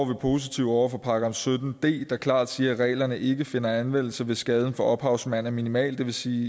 vi positive over for § sytten d der klart siger at reglerne ikke finder anvendelse hvis skaden for ophavsmand er minimal det vil sige